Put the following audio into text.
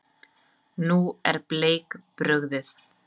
Nú er Bleik brugðið.